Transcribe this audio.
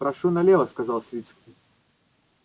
прошу налево сказал свицкий